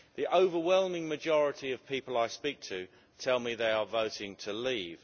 The overwhelming majority of people I speak to tell me they are voting to leave.